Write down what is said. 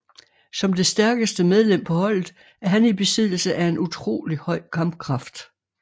Som det stærkeste medlem på holdet er han i besiddelse af en utrolig høj kampkraft